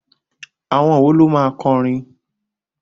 Àwọn wo ló máa kọ orin?